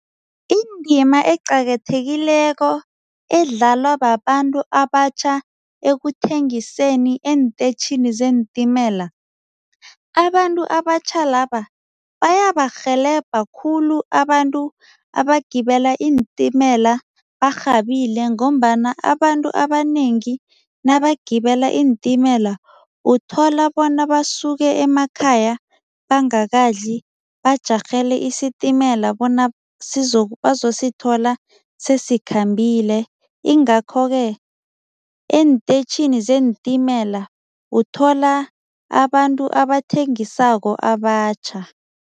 Indima eqakathekileko edlalwa babantu abatjha ekuthengiseni eentetjhinini zeentimela, abantu abatjha laba bayabarhelebha khulu abantu abagibela iintimela barhabile ngombana abantu abanengi nabagibela iintimela uthola bona basuke emakhaya bangakadli bajarhele isitimela bona bazosithola sesikhambile ingakho-ke eenteyitjhini zeentimela uthola abantu abathengisako abatjha.